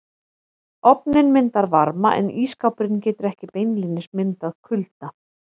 Ofninn myndar varma en ísskápurinn getur ekki beinlínis myndað kulda.